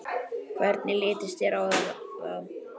Hvernig litist þér á það?